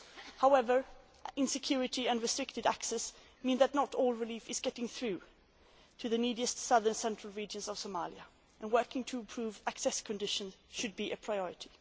However, insecurity and restricted access mean that not all relief is getting through to the neediest southern central regions of Somalia and working to improve access conditions should be a priority.